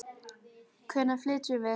Hvenær flytjum við?